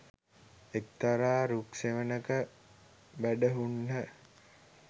එක්තරා රුක් සෙවණක වැඩහුන්හ